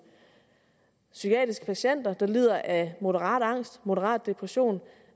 psykiatriske patienter der lider af moderat angst af moderat depression